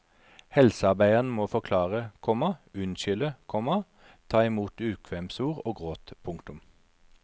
Helsearbeideren må forklare, komma unnskylde, komma ta imot ukvemsord og gråt. punktum